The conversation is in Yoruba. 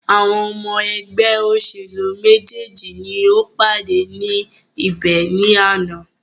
Àwọn ọmọ ẹgbẹ́ òṣèlú méjèèjì ni o pàdé ní ibẹ̀ ní àná.